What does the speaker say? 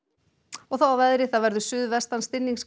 og þá að veðri það verður suðvestan